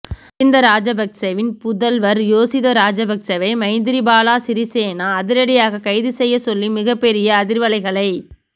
மகிந்த ராஜபக்சவின் புதல்வர் யோஷித ராஜபக்சவை மைத்திரிபால சிறிசேன அதிரடியாக கைது செய்யச் சொல்லி மிகப்பெரிய அதிர்வலைகளை